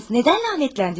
Nədən lənətləndiniz?